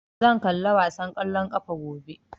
Zan kalla wasan ƙwallon ƙafa gobe